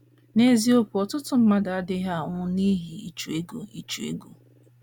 N’eziokwu um, ọtụtụ mmadụ adịghị anwụ n’ihi ịchụ ego ịchụ ego.